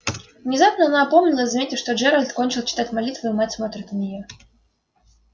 внезапно она опомнилась заметив что джералд кончил читать молитву и мать смотрит на неё